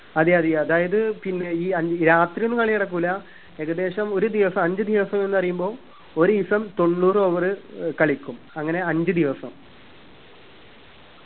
അതെ അതെ അതായത് ഈ അഞ്ച്‌ രാത്രിയൊന്നും കളി നടക്കൂല ഏകദേശം ഒരു ദിവസം അഞ്ച്‌ ദിവസം എന്ന് പറയുമ്പം ഒരീസം തൊണ്ണൂറ് over ഏർ കളിക്കും അങ്ങനെ അഞ്ച്‌ ദിവസം